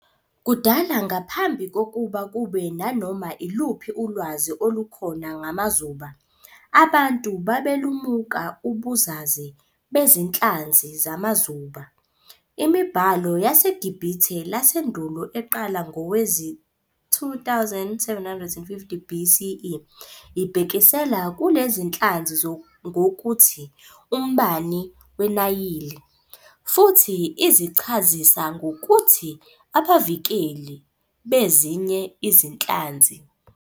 Kudala ngaphambi kokuba kube nanoma iluphi ulwazi olukhona ngamazuba, abantu babelumuka ubuzaze bezinhlanzi zamazuba. Imibhalo yaseGibhithe lasendulo eqala ngonyaka wezi-2750 BCE ibhekisela kulezinhlanzi ngokuthi "umbani weNayili", futhi izichazisa ngokuthi "abavikeli" bezinye izinhlanzi.